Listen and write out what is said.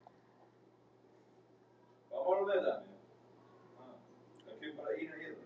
Í síðari hálfleik hélt leikurinn áfram að vera jafn en Blikar fengu þó betri færi.